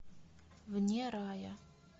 вне рая